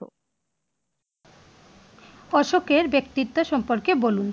অশোকের ব্যক্তিত্ব সম্পর্কে বলুন?